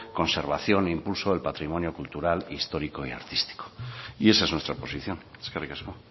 conservación e impulso del patrimonio cultural histórico y artístico y esa es nuestra posición eskerrik asko